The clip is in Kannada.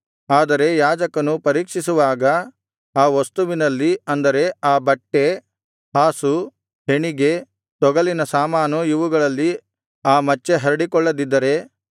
ಆದರೆ ಯಾಜಕನು ಪರೀಕ್ಷಿಸುವಾಗ ಆ ವಸ್ತುವಿನಲ್ಲಿ ಅಂದರೆ ಆ ಬಟ್ಟೆ ಹಾಸು ಹೆಣಿಗೆ ತೊಗಲಿನ ಸಾಮಾನು ಇವುಗಳಲ್ಲಿ ಆ ಮಚ್ಚೆ ಹರಡಿಕೊಳ್ಳದಿದ್ದರೆ